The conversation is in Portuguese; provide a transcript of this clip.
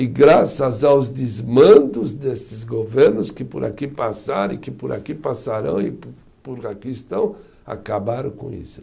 E graças aos desmandos desses governos, que por aqui passaram e que por aqui passarão e por por aqui estão, acabaram com isso.